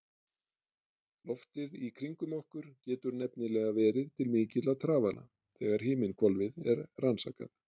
Loftið í kringum okkur getur nefnilega verið til mikilla trafala þegar himinhvolfið er rannsakað.